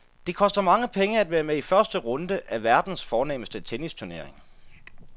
Det koster mange penge at være med i første runde af verdens fornemste tennisturnering.